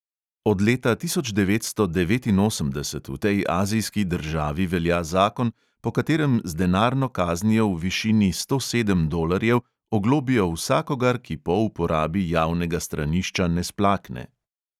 Od leta tisoč devetsto devetinosemdeset v tej azijski državi velja zakon, po katerem z denarno kaznijo v višini sto sedem dolarjev oglobijo vsakogar, ki po uporabi javnega stranišča ne splakne.